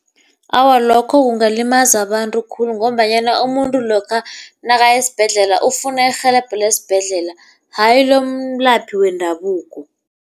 Awa, lokho kungalimaza abantu khulu ngombanyana umuntu lokha nakaya esibhedlela ufuna irhelebho lesibhedlela hayi lomelaphi wendabuko.